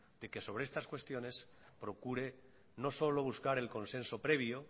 de que sobre estas cuestiones procure no solo buscar el consenso previo